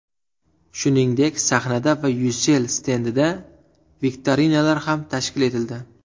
Shuningdek, sahnada va Ucell stendida viktorinalar ham tashkil etildi.